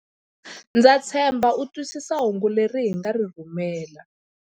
Ndza tshemba u twisisa hungu leri hi nga ri rhumela.